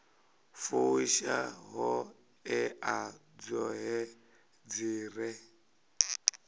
fusha ṱhoḓea dzoṱhe dzi re